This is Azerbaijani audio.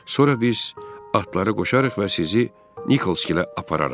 Sonra biz atları qoşarıq və sizi Nikolskilə apararıq.